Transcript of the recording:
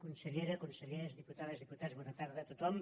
consellera consellers diputades diputats bona tarda a tothom